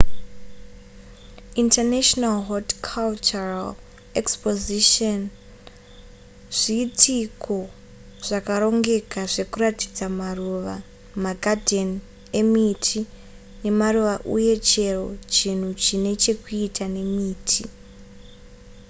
international horticultural expositions zviitiko zvakarongeka zvekuratidza maruva magadheni emiti nemaruva uye chero chinhu chine chekuita nemiti